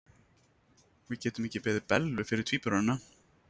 Við getum ekki beðið Bellu fyrir tvíburana.